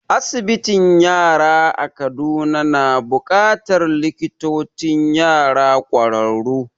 Asibitin yara a Kaduna na buƙatar likitocin yara ƙwararru